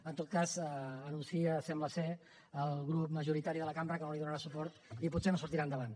en tot cas anuncia sembla el grup majoritari de la cambra que no hi donarà suport i potser no sortirà endavant